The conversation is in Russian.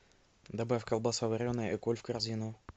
добавь колбаса вареная эколь в корзину